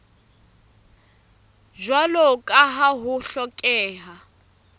jwalo ka ha ho hlokeha